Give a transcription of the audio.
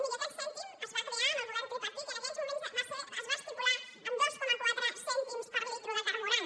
miri aquest cèntim es va crear amb el govern tripartit i en aquells moments es va estipular en dos coma quatre cèntims per litre de carburant